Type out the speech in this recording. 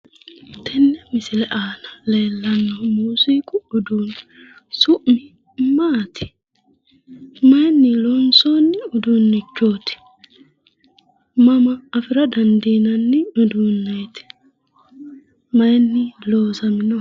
Tene misile aana leellanohu muziiqu uduuneti, Su'mi maati? Mayini loonsonni uduunichoti ? Mama afira dandiinanni uduuneti? Mayini loosaminoho?